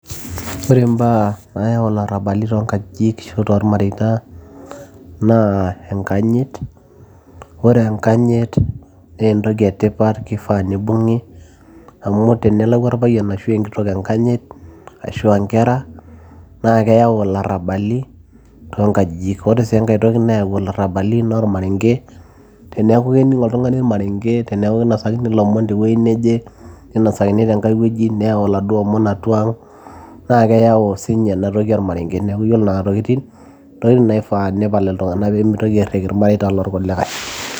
ore imbaa nayau ilarrabali toonkajijik ashu tolmareita naa enkanyit ore enkanyit naa entoki etipat kifaa nibung'i amu tenelau orpayian ashu enkitok enkanyit ashua inkera naa keyau ilarrabali toonkajijik ore sii enkae toki nayau ilarrabali naa ormarenge teniaku kening oltung'ani ormarenge teneeku kinosakini ilomon tewueji neje ninosakini tenkae wueji neyau iladuo omon atua ang naa keyau siinye inatoki ormarenge neeku yiolo nena tokitin intokitin naifaa nepal iltung'anak peemitoki airriki ilmareita lorkulikae.